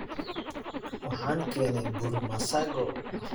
Waxaan keenay bur masago.